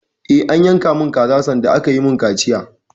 Eh, an yanka mun kaza sanda aka yi mun kaciya